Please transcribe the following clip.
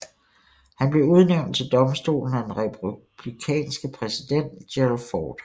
Han blev udnævnt til domstolen af den republikanske præsident Gerald Ford